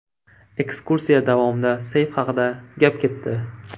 Ekskursiya davomida seyf haqida gap ketdi.